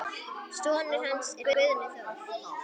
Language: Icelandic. Sonur hans er Guðni Þór.